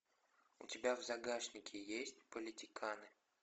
у тебя в загашнике есть политиканы